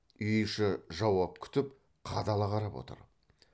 үй іші жауап күтіп қадала қарап отыр